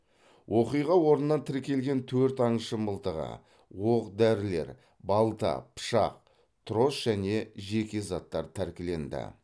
оқиға орнынан тіркелген төрт аңшы мылтығы оқ дәрілер балта пышақ трос және жеке заттар тәркіленді